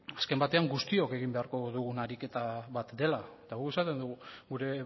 azken batean guztiok egin beharko dugun ariketa bat dela eta guk esaten dugu gure